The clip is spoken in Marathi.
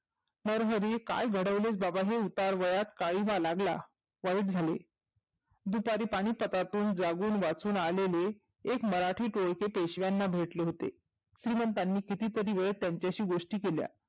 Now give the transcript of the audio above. नरहरी काय घडवले हे उतारत्या वयात काळींबा लागला, वाईट झाले. दुपारी पानीपतातून जागुण वाचून आलेले एक मराठी टोळके पेशव्यांना भेटले होते. श्रिमंतांनी किती तरी वेळ त्यांच्याशी गोष्ठी केल्या.